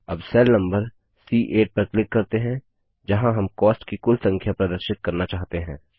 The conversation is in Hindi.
अब सेल नम्बर सी8 पर क्लिक करते हैं जहाँ हम कॉस्ट की कुल संख्या प्रदर्शित करना चाहते हैं